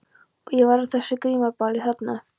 Og ég var á þessu grímuballi þarna.